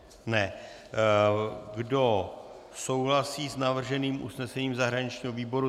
Kdo souhlasí s navrženým usnesením zahraničního výboru?